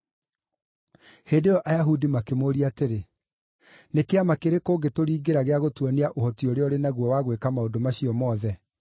Hĩndĩ ĩyo Ayahudi makĩmũũria atĩrĩ, “Nĩ kĩama kĩrĩkũ ũngĩtũringĩra gĩa gũtuonia ũhoti ũrĩa ũrĩ naguo wa gwĩka maũndũ macio mothe?”